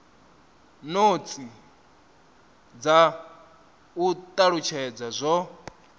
notsi dza u talutshedza zwo